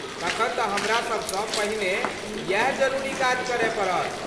तखन तँ हमरा सबसँ पहिने यैह जरूरी काज करय पड़त।